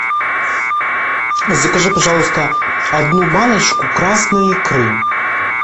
закажи пожалуйста одну баночку красной икры